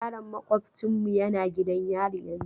Yaron maƙwabocinmu yana gidan yari yanzun.